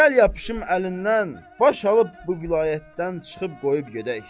Gəl yapışım əlindən, baş alıb bu vilayətdən çıxıb qoyub gedək.